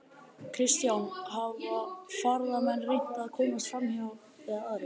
Kristján: Hafa ferðamenn reynt að komast framhjá eða aðrir?